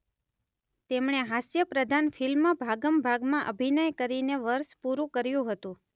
તેમણે હાસ્યપ્રધાન ફિલ્મ ભાગમ ભાગમાં અભિનય કરીને વર્ષ પૂરું કર્યું હતું